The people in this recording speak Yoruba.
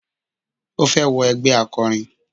Ó fẹ́ wọ ẹgbẹ́ akọrin.